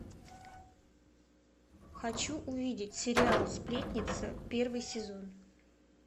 хочу увидеть сериал сплетница первый сезон